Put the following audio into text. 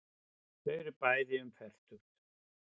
Þau eru bæði um fertugt.